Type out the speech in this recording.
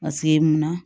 mun na